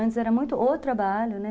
Antes era muito o trabalho, né?